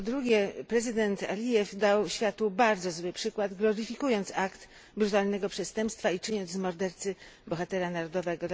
Po drugie prezydent Alijew dał światu bardzo zły przykład, gloryfikując akt brutalnego przestępstwa i czyniąc z mordercy bohatera narodowego.